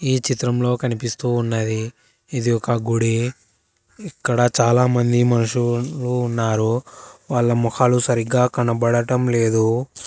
ఈ చిత్రంలో కనిపిస్తూ ఉన్నది ఇది ఒక గుడి ఇక్కడ చాలామంది మనుషులు ఉన్నారు వాళ్ళ మొహాలు సరిగ్గా కనబడటం లేదు.